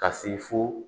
Ka se fo